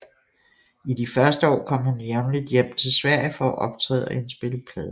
I de første år kom hun jævnligt hjem til Sverige for at optræde og indspille plader